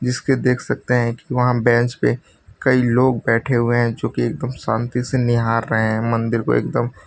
इसमें देख सकते है की वहां बेंच पे कही लोग बैठे हुए है जो की एकदम शान्ति से निहार रहे है मंदिर को एकदम --